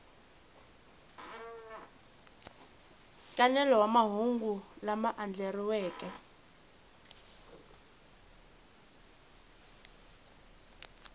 nkanelo wa mahungu lama andlariweke